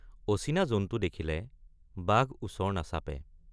অচিনা জন্তু দেখিলে বাঘ ওচৰ নাচাপে।